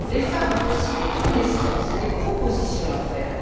Les femmes ont aussi des connaissances et des propositions à faire.